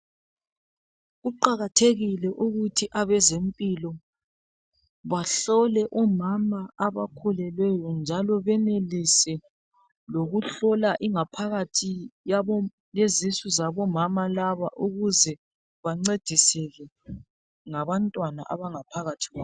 Kuqakathekile ukuthi abezempilo bahlole omama abakhulelweyo njalo benelise lokuhlola ingaphakathi yezisu zabomama laba ukuze bancediseke ngabantwana abangaphakathi kwabo